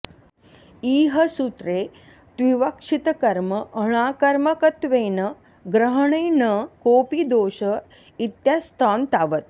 इह सूत्रे त्विवक्षितकर्मणाकर्मकत्वेन ग्रहणे न कोऽपि दोष इत्यास्तां तावत्